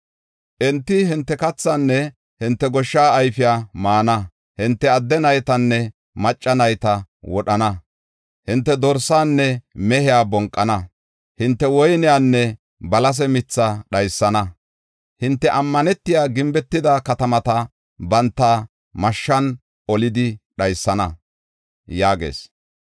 Enti hinte kathaanne hinte goshsha ayfiya maana; hinte adde naytanne macca nayta wodhana; hinte dorsaanne mehiya bonqana; hinte woyniyanne balase mithaa dhaysana. Hinte ammanetiya, gimbetida katamata banta mashshan olidi dhaysana” yaagees.